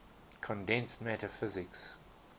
condensed matter physics